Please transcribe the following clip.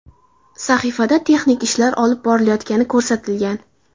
Sahifada texnik ishlar olib borilayotgani ko‘rsatilgan.